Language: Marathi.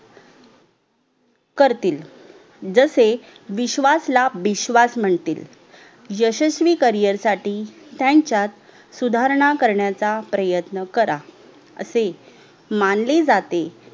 करतील जसे विश्वास ला बिश्वाश मनतील यशस्वी करियर साठी त्यांच्यात सुधारणा करण्याचा प्रयत्न करा असे मानले जाते